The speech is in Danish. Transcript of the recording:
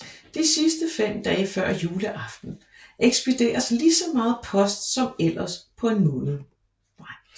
De sidste 5 dage før juleaften ekspederes lige så meget post som ellers på en måned